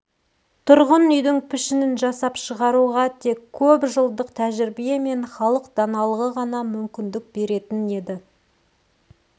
тұрғын үйдің пішінін жасап шығаруға тек көп жылдық тәжірибе мен халық даналығы ғана мүмкіндік беретін еді